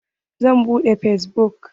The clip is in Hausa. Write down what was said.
Zan buɗe fesbuk.